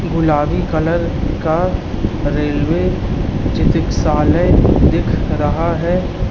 गुलाबी कलर का रेलवे चिकित्सालय दिख रहा है।